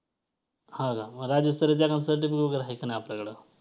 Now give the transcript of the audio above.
हां का मग राज्यस्तरीय certificate वगैरे आहे का नाही आपल्याकडं